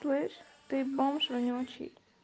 слышь ты бомж вонючий